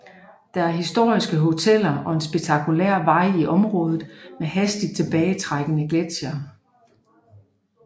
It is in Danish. Der er historiske hoteller og en spektakulær vej i området med hastigt tilbagetrækkende gletsjere